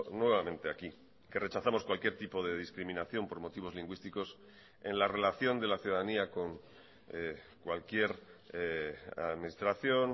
nuevamente aquí que rechazamos cualquier tipo de discriminación por motivos lingüísticos en la relación de la ciudadanía con cualquier administración